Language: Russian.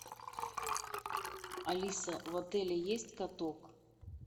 алиса в отеле есть каток